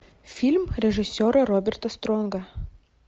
фильм режиссера роберта стронга